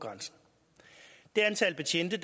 sit